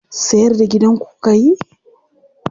Sayar da gidanku kuka yi?